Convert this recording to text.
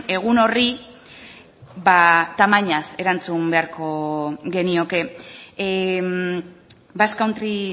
egun horri ba tamainaz erantzun beharko genioke basque country